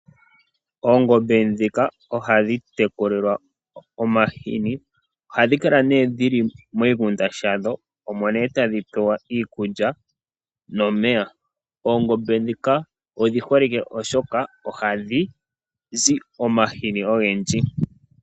Oongombe dhika oha dhi teku lilwa omahini ohadhi kala miingunda yadho omonee tadhi pewelwa iikulya nomeya. Oongombe dhika odhi holike oshoka oha dhi zi omahini ogendji.